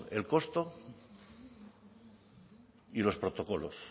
el costo y los protocolos